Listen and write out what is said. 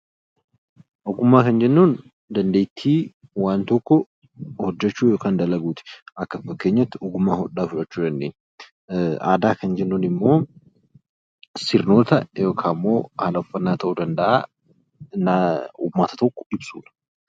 Ogummaa jechuun dandeettii waan tokko hojjechuu yookiin dalaguuti. Fakkeenyaaf hodhaa. Aadaa jechuun immoo sirnoota yookiin haala uffannaa uummata tokkoo ibsuudha.